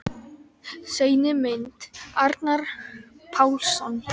Seinni mynd: Arnar Pálsson.